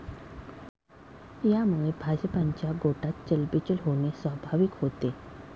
यामुळे भाजपच्या गोटात चलबिचल होणे स्वाभाविक होते.